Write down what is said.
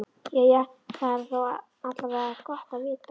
Jæja, það er þó alla vega gott að vita.